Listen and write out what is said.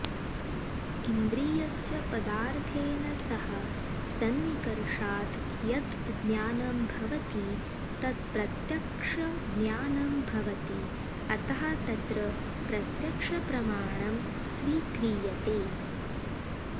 इन्द्रियस्य पदार्थेन सह सन्निकर्षात् यत् ज्ञानं भवति तत् प्रत्यक्षज्ञानं भवति अतः तत्र प्रत्यक्षप्रमाणं स्वीक्रियते